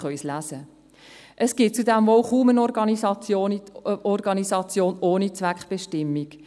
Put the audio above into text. Es gibt zudem kaum eine Organisation ohne Zweckbestimmung.